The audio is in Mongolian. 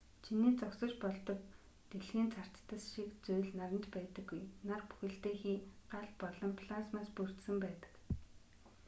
чиний зогсож болдог дэлхийн царцдас шиг зүйл наранд байдаггүй нар бүхэлдээ хий гал болон плазмаас бүрдсэн байдаг